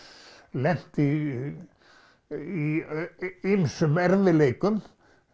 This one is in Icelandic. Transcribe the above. lent í í ýmsum erfiðleikum